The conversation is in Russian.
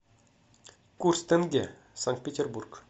курс тенге санкт петербург